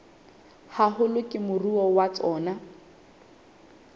haholo ke moruo wa tsona